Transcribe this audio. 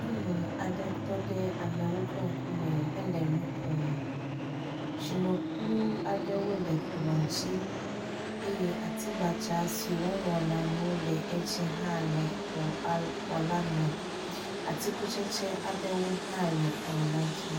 Nyɔnu aɖe tɔ ɖe amewo ƒe ŋkume hele nu ƒom. Tsinokplɔ aɖewo le kplɔ dzi eye atigbadza si woŋlɔna nu le edzi hã le xɔ al la me. Atikutsetse aɖewo hã le kplɔ la dzi.